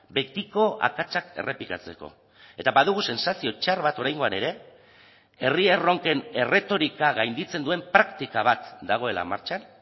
betiko akatsak errepikatzeko eta badugu sentsazio txar bat oraingoan ere herri erronken erretorika gainditzen duen praktika bat dagoela martxan